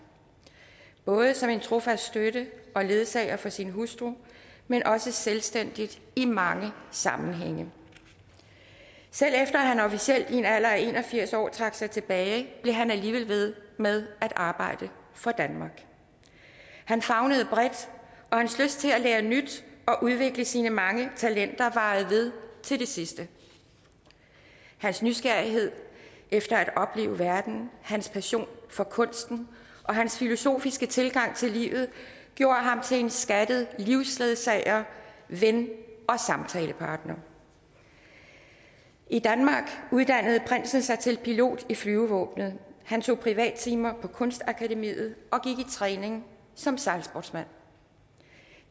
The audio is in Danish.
både som en trofast støtte og ledsager for sin hustru men også selvstændigt i mange sammenhænge selv efter at han officielt i en alder af en og firs år trak sig tilbage blev han alligevel ved med at arbejde for danmark han favnede bredt og hans lyst til at lære nyt og udvikle sine mange talenter varede ved til det sidste hans nysgerrighed efter at opleve verden hans passion for kunsten og hans filosofiske tilgang til livet gjorde ham til en skattet livsledsager ven og samtalepartner i danmark uddannede prinsen sig til pilot i flyvevåbenet han tog privattimer på kunstakademiet og gik i træning som sejlsportsmand